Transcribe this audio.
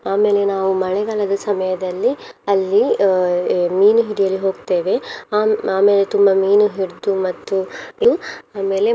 ಆಮೇಲೆ ನಾವು ಮಳೆಗಾಲದ ಸಮಯದಲ್ಲಿ ಅಲ್ಲಿ ಅಹ್ ಅಹ್ ಮೀನು ಹಿಡಿಯಲು ಹೋಗ್ತೇವೆ ಆಮ್~ ಆಮೇಲೆ ತುಂಬ ಮೀನು ಹಿಡ್ದು ಮತ್ತು ತು~ ಆಮೇಲೆ.